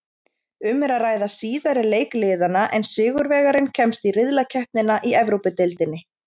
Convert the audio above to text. Um er að ræða síðari leik liðanna en sigurvegarinn kemst í riðlakeppnina í Evrópudeildinni.